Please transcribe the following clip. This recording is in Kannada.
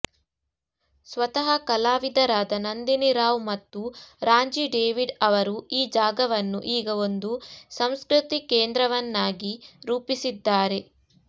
ಸ್ವತಃ ಕಲಾವಿದರಾದ ನಂದಿನಿ ರಾವ್ ಮತ್ತು ರಾಂಜಿ ಡೇವಿಡ್ ಅವರು ಈ ಜಾಗವನ್ನು ಈಗ ಒಂದು ಸಂಸ್ಕೃತಿ ಕೇಂದ್ರವನ್ನಾಗಿ ರೂಪಿಸಿದ್ದಾರೆ